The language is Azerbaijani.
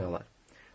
Nə etmək olar?